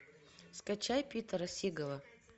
скачай питера сигала